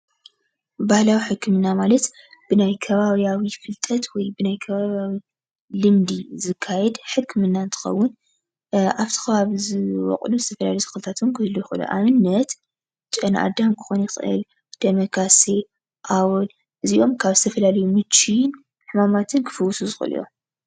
ባህላዊ ሕክምና ማለት ብናይ ከባቢያዊ ፍልጠት ወይድማ ናይ ከባቢያዊ ልምዲ ዝካየድ ሕክምና እንትከውን ኣብቲ ከባቢ ዝርከቡ ተክልታት እውን ክህልው ይክእሉ እዮም፡፡ ኣብነት ጨነኣዳም ክኸውን ይክእል፣ ደመካሴ፣ ኣወል እዚኦም ካብ ዝተፈላለዩ ምችን ሕማማትን ክፍውሱ ዝክእሉ እዮም፡፡